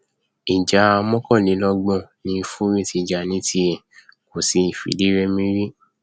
ìjà mọkànlélọgbọn ni fury ti jà ní tiẹ kò sì fìdírẹmi rí